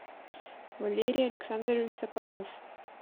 валерий александрович соколов